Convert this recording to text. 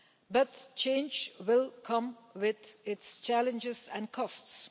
But change will come with its challenges and costs.